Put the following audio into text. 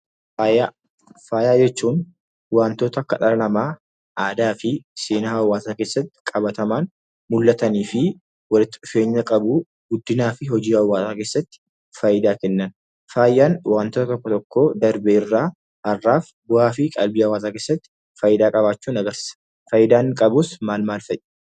Faaya jechuun waantota akka dhala namaa, aadaa fi seenaa hawaasaa keessatti qabatamaan mul'atanii fi walitti dhufeenya qabu, guddinaa fi hojii hawaasaa keessatti faayidaa kennan. Faayaan waantota tokko tokko darbe irraa har'aaf bu'aa fi qalbii hawaasaa keessatti faayidaa qabaachuu ni argisiisa. Faayidaa inni qabus maal maal fa'i?